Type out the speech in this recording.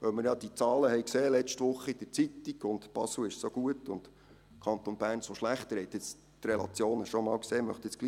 Weil wir diese Zahlen letzte Woche in der Zeitung gesehen haben, und es hiess, Basel sei so gut, und der Kanton Bern so schlecht, möchte ich jetzt doch